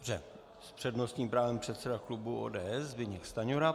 S přednostním právem předseda klubu ODS Zbyněk Stanjura.